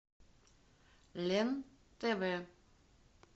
лен тв